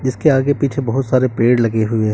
इसके आगे पीछे बहुत सारे पेड़ लगे हुए हैं।